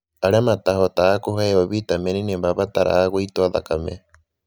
Arĩa matahotaga kũheo vitamini nĩ mabataraga gũitwo thakame.